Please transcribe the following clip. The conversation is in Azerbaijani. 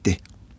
Getdi.